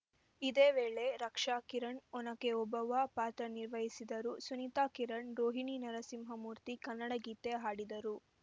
ಇದೇ ವೇಳೆ ರಕ್ಷಾಕಿರಣ್‌ ಒನಕೆ ಓಬವ್ವ ಪಾತ್ರ ನಿರ್ವಹಿಸಿದರು ಸುನಿತಾ ಕಿರಣ್‌ ರೋಹಿಣಿ ನರಸಿಂಹಮೂರ್ತಿ ಕನ್ನಡ ಗೀತೆ ಹಾಡಿದರು